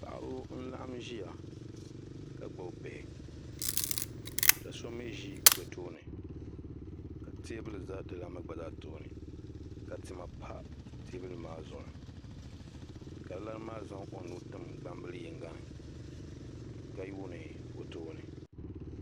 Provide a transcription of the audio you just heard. Paɣaba n laɣim ziya ka gbubi bihi ka so mi zi bi tooni ka tɛɛbuli za di lani maa tooni ka tima pa tɛɛbuli maa zuɣu ka di lani maa zaŋ o nuu tim gbaŋ bili yiŋga ni ka yuuni o tooni.